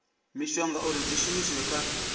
mishonga uri dzi shumiswe kha